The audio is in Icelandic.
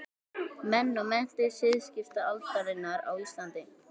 Menn og menntir siðskiptaaldarinnar á Íslandi.